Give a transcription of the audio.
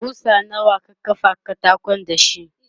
kusa nawa ka kafa katakon dashi?